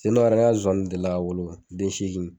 Sen dɔ yɛrɛ, ne ka Zonzanniw deli la ka wolo den seegin.